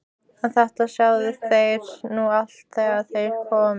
En þetta sjáið þér nú allt þegar þér komið.